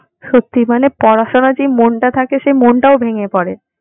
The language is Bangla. সত্যিই মানে পড়াশোনার যে মনটা থাকে সে মনটাও ভেঙে পরে।